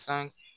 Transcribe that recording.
San